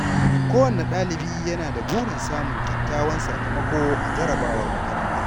Kowane ɗalibi yana da burin samun kyakkyawan sakamako a jarrabawar makaranta.